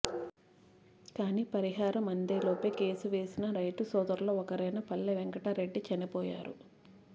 కానీ పరిహారం అందేలోపే కేసు వేసిన రైతు సోదరుల్లో ఒకరైన పల్లె వెంకట రెడ్డి చనిపోయారు